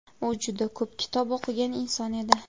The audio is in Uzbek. U juda ko‘p kitob o‘qigan inson edi.